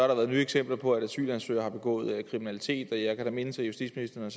der været nye eksempler på at asylansøgere har begået kriminalitet jeg kan da mindes at justitsministeren